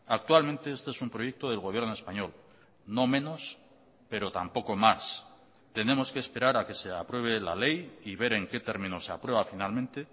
actualmente este es un proyecto del gobierno español no menos pero tampoco más tenemos que esperar a que se apruebe la ley y ver en qué términos se aprueba finalmente